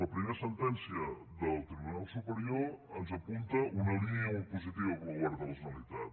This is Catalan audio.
la primera sentència del tribunal superior ens apunta una línia molt positiva per al govern de la generalitat